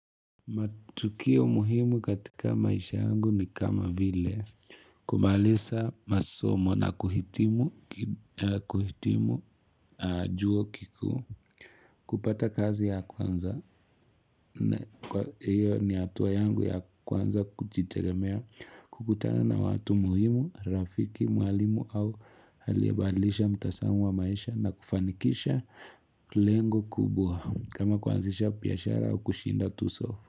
Matukio muhimu katika maisha yangu ni kama vile kumaliza masomo na kuhitimu juo kikuu kupata kazi ya kwanza Kwa hiyo ni hatuwa yangu ya kwanza kujitegemea kukutana na watu muhimu, rafiki, mwalimu au aliyebadilisha mtazamo wa maisha na kufanikisha lengo kubwa kama kuanzisha biashara au kushinda tuso.